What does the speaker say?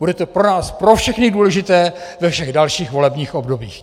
Bude to pro nás pro všechny důležité ve všech dalších volebních obdobích.